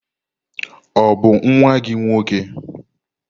Ọ bụ nwa gị nwoke?